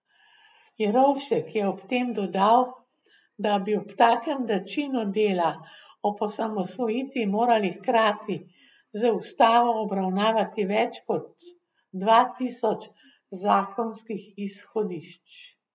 Jerovšek je ob tem dodal, da bi ob takem načinu dela ob osamosvojitvi morali hkrati z ustavo obravnavati več kot dva tisoč zakonskih izhodišč.